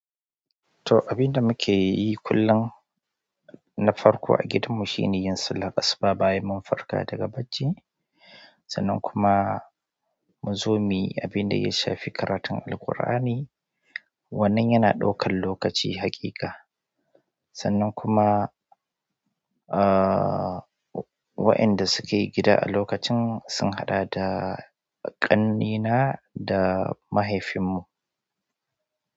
To, abin da muke yi kullum na farko a gidanmu shine yin sallar asuba bayan mun farka daga bacci. Sannan kuma muzomiyi, abin da ya shafi karatun Alqur'ani, wannan yana ɗaukar lokaci haƙiƙa. Sannan kuma, uh, waenda suke gida a lokacin sun haɗa da ƙannena da mahaifinmu.